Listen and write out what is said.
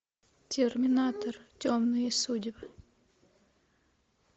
терминатор темные судьбы